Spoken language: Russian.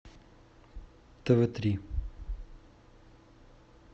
тв три